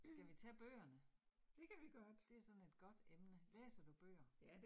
Skal vi tage bøgerne? Det sådan et godt emne, læser du bøger?